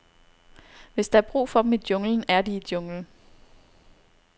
Hvis der er brug for dem i junglen, er de i junglen.